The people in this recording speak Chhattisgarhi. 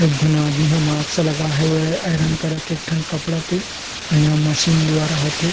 एक झन आदमी ह मास्क लगा हेवय आयरन करत एक ठन कपड़ा के अउ इहा मशीन द्वारा होथे।